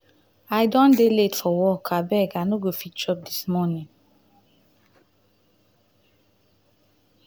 i don dey late for work abeg i no go fit chop dis morning.